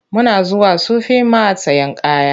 Muna zuwa Sufi mat sayen kaya.